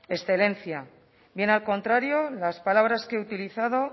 excelencia bien al contrario las palabras que he utilizado